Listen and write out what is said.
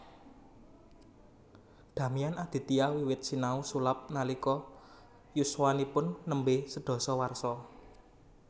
Damian Aditya wiwit sinau sulap nalika yuswanipun nembe sedasa warsa